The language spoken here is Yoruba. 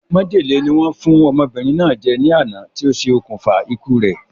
Májèlé ni wọ́n fún ọmọbìnrin náà jẹ ní àná ti o se òkùnfà ikú re